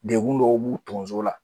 Degun dɔw b'u tonso la